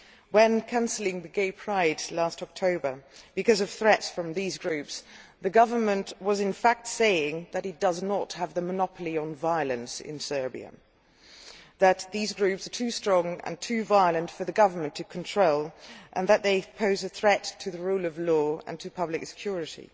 When it cancelled the Gay Pride event last October because of threats from these groups, the government was in fact saying that it does not have a monopoly on violence in Serbia, that these groups are too strong and too violent for the government to control and that they pose a threat to the rule of law and to public security.